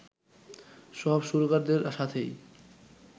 সব সুরকারদের সাথেই